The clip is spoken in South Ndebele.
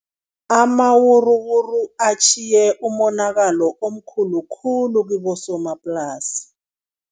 Amawuruwuru atjhiye umonakalo omkhulu khulu kibosomaplasi.